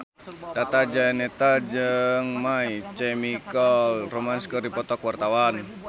Tata Janeta jeung My Chemical Romance keur dipoto ku wartawan